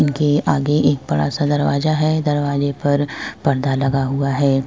इनके आगे एक बड़ा सा दरवाजा है। दरवाजे पर पर्दा लगा हुआ है।